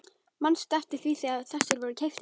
Manstu eftir því þegar þessir voru keyptir?